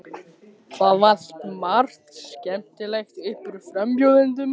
Það valt margt skemmtilegt upp úr frambjóðendum.